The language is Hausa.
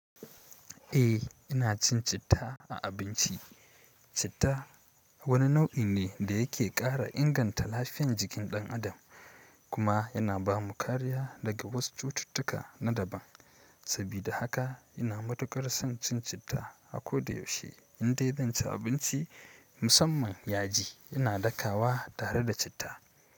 Eh ina cin citta a abinci. Citta wani nau'i ne da yake ƙara inganta lafiyan jikin ɗan adam kuma yana ba mu kariya daga wasu cututtuka na daban. Saboda haka ina matukar son cin citta a ko da yaushe indai ban ci abinci musamman yaji ina ɗakawa tare da citta.